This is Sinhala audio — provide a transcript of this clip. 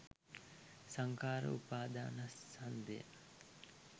සංඛාර උපාදානස්කන්ධය